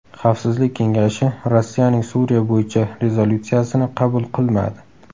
Xavfsizlik kengashi Rossiyaning Suriya bo‘yicha rezolyutsiyasini qabul qilmadi.